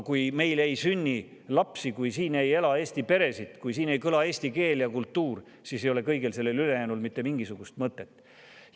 Kui meil ei sünni lapsi, kui siin ei ela Eesti peresid, kui siin ei kõla eesti keel ega kultuur, siis ei ole kõigel sellel ülejäänul mitte mingisugust mõtet.